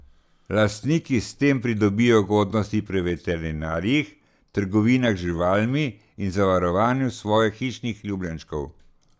Lastniki s tem pridobijo ugodnosti pri veterinarjih, trgovinah z živalmi in zavarovanju svojih hišnih ljubljenčkov.